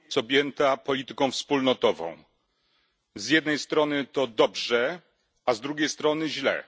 Kultura jest objęta polityką wspólnotową. Z jednej strony to dobrze, a z drugiej strony źle.